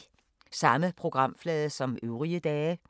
Samme programflade som øvrige dage